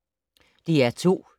DR2